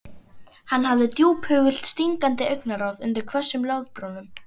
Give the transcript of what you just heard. Hann hafði djúphugult stingandi augnaráð undir hvössum loðbrúnum.